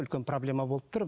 үлкен проблема болып тұр